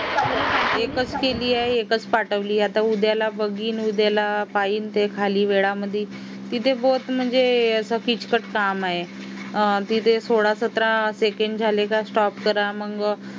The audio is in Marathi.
एकच केली आहे एकच पाठवली आता उद्याला बघीन उद्याला पाहिजे खाली वेळेमध्ये असं किचकट काम आहे तिथे सोळा सतरा secondstop करा मग आणि